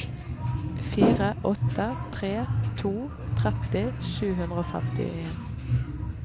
fire åtte tre to tretti sju hundre og femtien